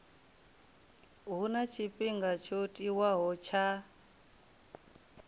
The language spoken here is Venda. huna tshifhinga tsho tiwaho tsha